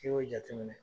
N'i y'o jateminɛ